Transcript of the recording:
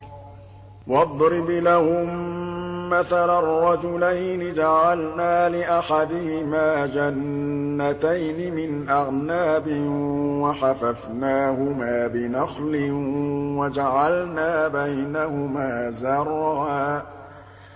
۞ وَاضْرِبْ لَهُم مَّثَلًا رَّجُلَيْنِ جَعَلْنَا لِأَحَدِهِمَا جَنَّتَيْنِ مِنْ أَعْنَابٍ وَحَفَفْنَاهُمَا بِنَخْلٍ وَجَعَلْنَا بَيْنَهُمَا زَرْعًا